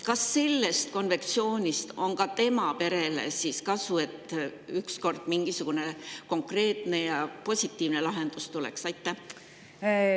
Kas sellest konventsioonist on ka tema perele kasu, et ükskord mingisugune konkreetne ja positiivne lahendus nende jaoks tuleks?